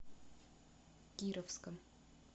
кировском